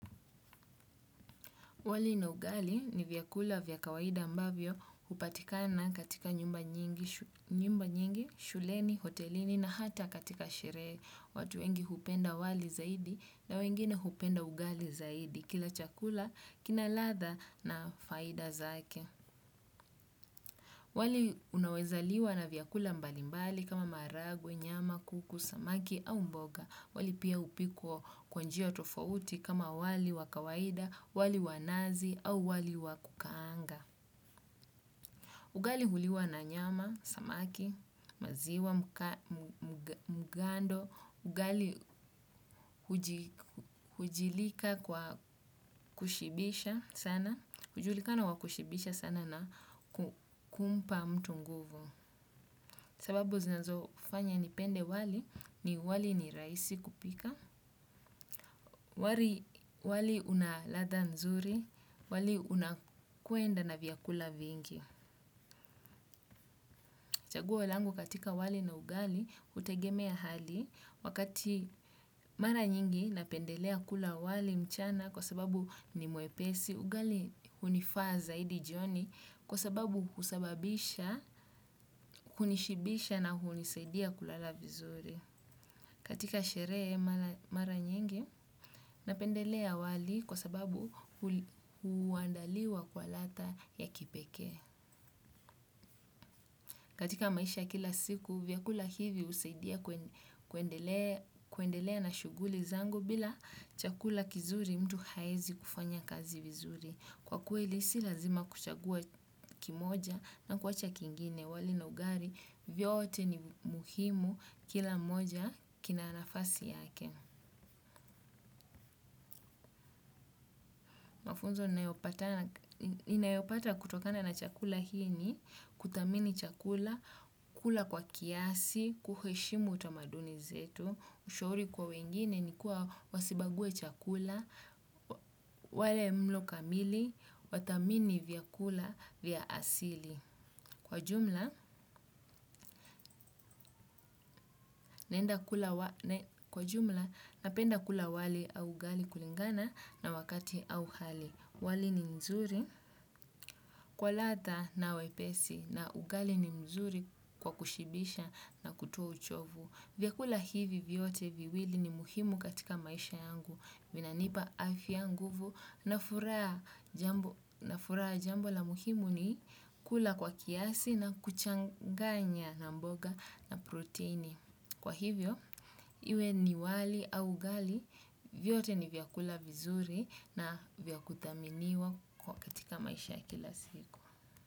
Wali na ugali ni vyakula vya kawaida ambavyo hupatikana katika nyumba nyingi, shuleni, hotelini na hata katika sherehe. Watu wengi hupenda wali zaidi na wengine hupenda ugali zaidi kila chakula kina ladha na faida zake. Wali unawezaliwa na vyakula mbalimbali kama maharagwe, nyama, kuku, samaki au mboga. Wali pia hupikwa kwa njia tofauti kama wali wakawaida, wali wanazi au wali wakukaanga. Ugali huliwa na nyama, samaki, maziwa, mgando. Ugali hujilika kwa kushibisha sana. Hujulikana wa kushibisha sana na kumpa mtu nguvu. Sababu zinazo fanya nipende wali ni wali ni rahisi kupika. Wali unaladha mzuri, wali unakuenda na vyakula vingi. Chaguo langu katika wali na ugali, hutegemea hali. Wakati mara nyingi napendelea kula wali mchana kwa sababu ni mwepesi. Ugali hunifaa zaidi jioni kwa sababu husababisha, kunishibisha na hunisaidia kulala vizuri. Katika sherehe mara nyingi napendelea wali kwa sababu huandaliwa kwa ladha ya kipekee. Katika maisha ya kila siku, vyakula hivi husaidia kuendelea na shughuli zangou bila chakula kizuri mtu haezi kufanya kazi vizuri. Kwa kweli si lazima kuchangua kimoja na kuacha kingine wali na ugali vyote ni muhimu kila moja kina nafasi yake. Mafunzo ninayopata kutokana na chakula hii ni, kudhamini chakula, kula kwa kiasi, kuheshimu utamaduni zetu, ushauri kwa wengine ni kuwa wasibaguwe chakula, wale mlo kamili, wathamini vyakula vya asili. Kwa jumla, napenda kula wali au ugali kulingana na wakati au hali. Wali ni mzuri kwa ladha na wepesi na ugali ni mzuri kwa kushibisha na kutoa uchovu. Vyakula hivi vyote viwili ni muhimu katika maisha yangu. Vina nipa afya nguvu na furaha na furaha jambo la muhimu ni kula kwa kiasi na kuchanganya na mboga na proteini. Kwa hivyo, iwe ni wali au ugali, vyote ni vyakula vizuri na vya kuthaminiwa kwa katika maisha kila siku.